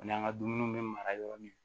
Ani an ka dumuniw bɛ mara yɔrɔ min